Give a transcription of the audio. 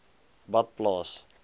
badplaas